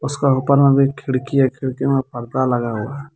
उसका ऊपर में भी एक खिड़की है खिड़की मे पर्दा लगा हुआ है.